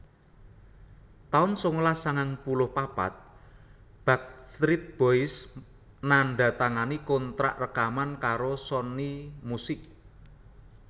taun sangalas sangang puluh papat Backstreet Boys nandatangani kontrak rekaman karo Sony Music